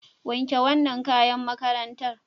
Wanke wannan kayan makarntar.